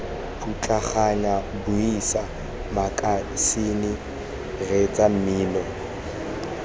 putlaganyang buisa makasine reetsa mmino